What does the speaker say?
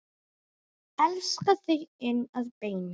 Elska þig inn að beini.